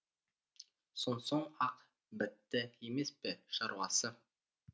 сонсоң ақ бітті емес пе шаруасы